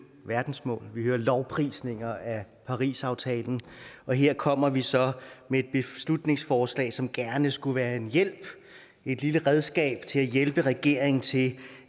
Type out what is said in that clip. verdensmål vi hører lovprisninger af parisaftalen og her kommer vi så med et beslutningsforslag som gerne skulle være en hjælp et lille redskab til at hjælpe regeringen til